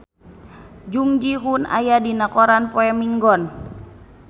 Jung Ji Hoon aya dina koran poe Minggon